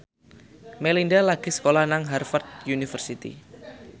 Melinda lagi sekolah nang Harvard university